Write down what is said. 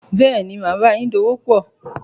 Bẹ́ẹ̀ni, màá báayín dòwòpò